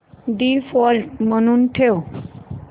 default म्हणून ठेव